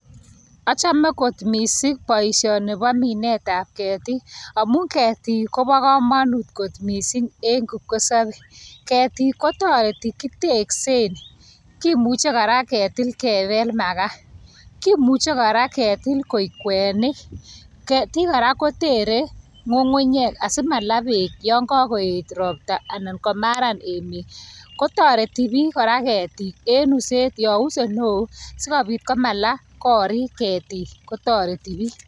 Ochome missing boishoni bo mindetab ketik amun ketik kobokomonut kot missing en kipkosobe ketik kotoreti kiteksen kimuche koraa ketil kebel makaa, kimuche koraa ketil koik kwenik. Ketik koraa kotere ngungunyek asimala beek yon kokoyet roptaa anan komaran emet kotoreti bik koraa ketik en uset yon use neo sikopit komalaa korik ketik kotoreti bik.